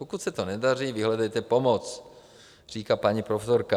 Pokud se to nedaří, vyhledejte pomoc, říká paní profesorka.